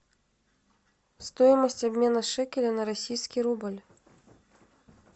стоимость обмена шекеля на российский рубль